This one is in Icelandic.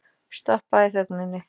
Stoppa í þögninni.